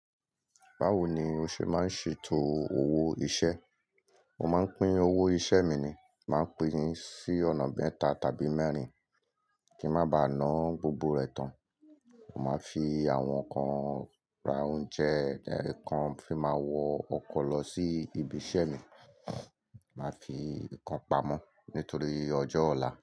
Báwo ni o ṣe máa ń ṣètò owó iṣẹ́? Mo máa ń pín owó iṣẹ́ mi ni. Máa pín ní sí ọ̀nà mẹ́ta tàbí mẹ́rin kí ń má ba ná gbogbo rẹ̀ tán. Mo máa fi àwọn kan ra oúnjẹ, ẹ̀kan fi máa wọ ọkọ̀ lọ sí ibi iṣẹ́ mi, màá fi ìkan pamọ́ nítorí ọjọ́ ọ̀la.